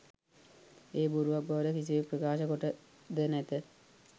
එය බොරුවක් බවට කිසිවෙක් ප්‍රකාශ කොට ද නැත